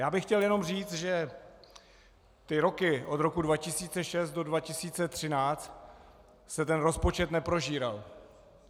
Já bych chtěl jenom říci, že ty roky od roku 2006 do 2013 se ten rozpočet neprožíral.